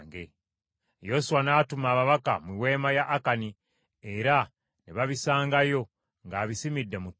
Yoswa n’atuma ababaka mu weema ya Akani era ne babisangayo ng’abisimidde mu ttaka.